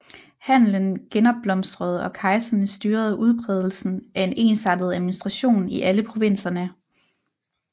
Handelen genopblomstrede og kejserne styrede udbredelsen af en ensartet administration i alle provinserne